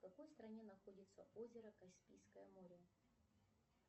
в какой стране находится озеро каспийское море